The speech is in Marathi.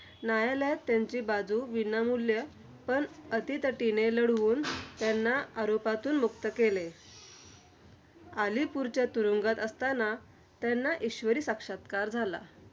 न्यायालयात त्यांची बाजू विनामूल्य पण अटीतटीने लढवून, त्यांना आरोपातून मुक्त केले. आलीपूरच्या तुरुंगात असतांना, त्यांना ईश्वरी साक्षात्कार झाला.